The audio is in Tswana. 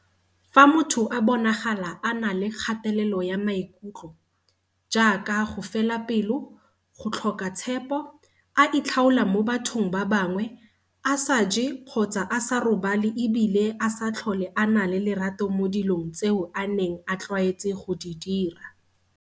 Fa motho a bonagala a na le kgatelelo ya maikutlo, jaaka go fela pelo, go tlhoka tshepo, a itlhaola mo bathong ba bangwe, a sa je kgotsa a sa robale e bile a sa tlhole a na le lerato mo dilong tseo a neng a tlwaetse go di dira.